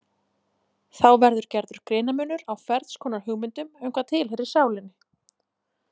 Þá verður gerður greinarmunur á ferns konar hugmyndum um hvað tilheyrir sálinni.